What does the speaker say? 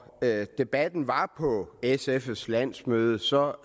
debatten var oppe på sfs landsmøde så